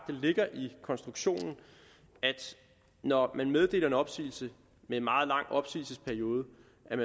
ligger i konstruktionen at når man meddeler en opsigelse med en meget lang opsigelsesperiode